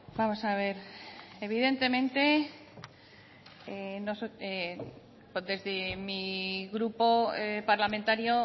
vamos a ver evidentemente desde mi grupo parlamentario